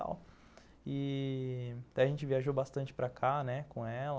E... A gente viajou bastante para cá, né, com ela.